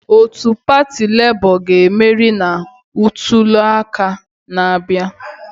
Otu pati Lebo ga-emeri na ntuliaka na-abịa.